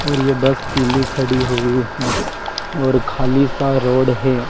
और ये बस पीली खड़ी हुई है और खाली सा रोड है।